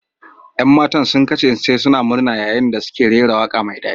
Yan matan sun kasance suna murna yayin da suke rera waƙa mai daɗi.